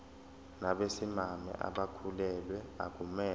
nabesimame abakhulelwe akumele